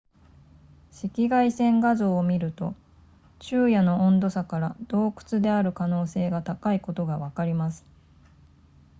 赤外線画像を見ると昼夜の温度差から洞窟である可能性が高いことがわかります